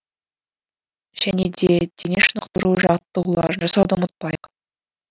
және де дене шынықтыру жаттығуларын жасауды ұмытпайық